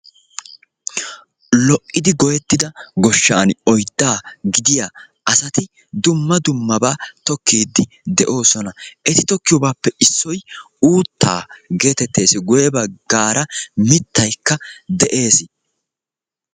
Lo"iddi goyeettidaa goshshaani oyddaa gidiya asati dumma dummaba tokkiidi de"oosona. Eti tokkiyobaappe issoy uuttaa gettettees, guye baggaara mittaykka de'ees.